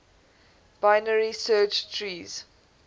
binary search trees